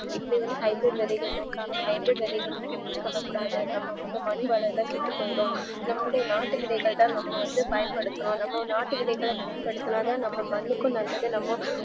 இப்போவந்து high bridge விதைகள சேர்க்காம high bridge விதைகள use பண்ணக்கூடாது நம்ம வந்து மண் வளம் லா கெட்டுபோய்டும் நம்மளுடைய நாட்டுவிதைதான் நம்மவந்து பயன்படுத்துறோம் நம்ம நாட்டுவிதைகள பயன்படுத்துனாதன் நம்ம மண்ணுக்கு நல்லது நமக்